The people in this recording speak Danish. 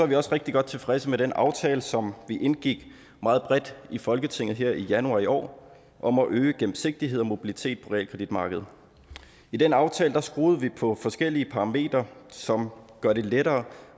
vi også rigtig godt tilfredse med den aftale som vi indgik meget bredt i folketinget her i januar i år om at øge gennemsigtighed og mobilitet på realkreditmarkedet i den aftale skruede vi på forskellige parametre som gør det lettere